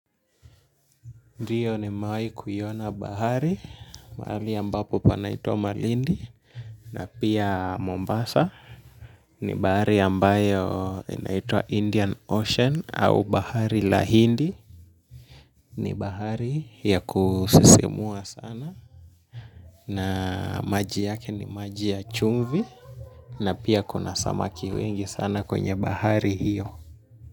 Ndio nimewahi kuiona bahari mahali ambapo panaitwa Malindi na pia Mombasa. Ni bahari ambayo inaitwa Indian Ocean au bahari la hindi. Ni bahari ya kusisimua sana na maji yake ni maji ya chumvi na pia kuna samaki wengi sana kwenye bahari hiyo.